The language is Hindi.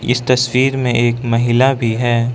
इस तस्वीर में एक महिला भी है।